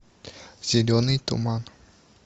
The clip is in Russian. зеленый туман